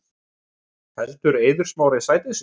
Heldur Eiður Smári sæti sínu